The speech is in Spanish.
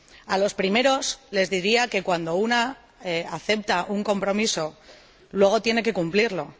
A los primeros les diría que cuando uno acepta un compromiso luego tiene que cumplirlo.